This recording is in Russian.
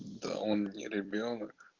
да он не ребёнок